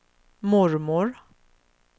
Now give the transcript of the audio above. mormor